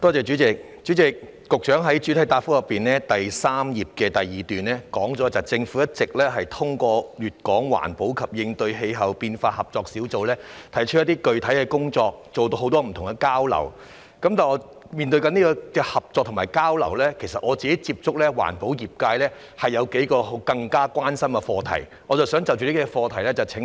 主席，局長在主體答覆第三頁第二部分提到，政府一直通過粵港環保及應對氣候變化合作小組提出一些具體的工作及進行很多交流，但就這些合作和交流來說，我曾接觸的環保業界其實有幾個更加關心的課題，我想就着這些課題向局長提問。